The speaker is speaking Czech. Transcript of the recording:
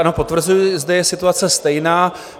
Ano, potvrzuji, zde je situace stejná.